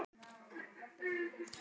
Þetta er allt eins.